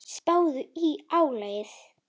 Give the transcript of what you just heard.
Spáðu í álagið.